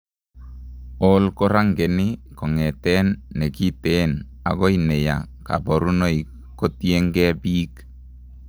OI korangeni keng'eten nekiteen akoi neyaa kaborunoik kotiengee biik